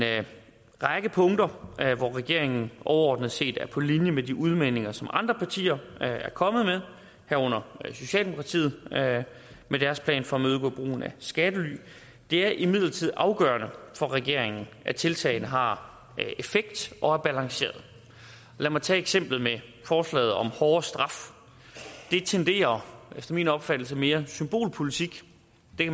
række punkter hvor regeringen overordnet set er på linje med de udmeldinger som andre partier er kommet med herunder socialdemokratiet med deres plan for at imødegå brugen af skattely det er imidlertid afgørende for regeringen at tiltagene har effekt og er balancerede og lad mig tage eksemplet med forslaget om hårdere straf det tenderer efter min opfattelse mere symbolpolitik